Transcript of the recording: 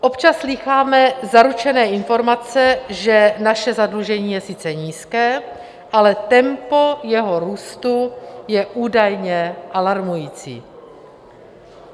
Občas slýcháme zaručené informace, že naše zadlužení je sice nízké, ale tempo jeho růstu je údajně alarmující.